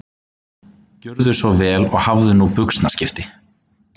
Gjörðu svo vel og hafðu nú buxnaskipti